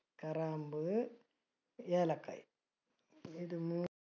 കറാമ്പു, ഏലക്ക ഇതു മൂന്നു